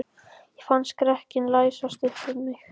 Ég fann skrekkinn læsast um mig.